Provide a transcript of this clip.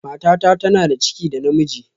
Matata tana da ciki da ɗa namiji